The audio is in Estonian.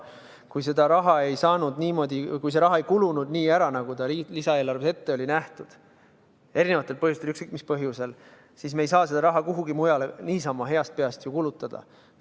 Kui see raha ei kulunud ära nii, nagu ta lisaeelarves ette oli nähtud – eri põhjustel, ükskõik mis põhjusel –, siis me ei saa seda raha kuhugi mujale niisama heast peast kulutada.